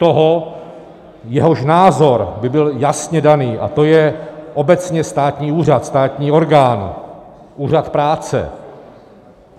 Toho, jehož názor by byl jasně daný, a to je obecně státní úřad, státní orgán, úřad práce.